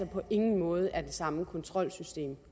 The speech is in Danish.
på ingen måde er det samme kontrolsystem